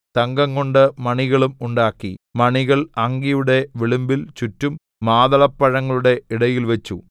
തങ്കംകൊണ്ട് മണികളും ഉണ്ടാക്കി മണികൾ അങ്കിയുടെ വിളുമ്പിൽ ചുറ്റും മാതളപ്പഴങ്ങളുടെ ഇടയിൽ വച്ചു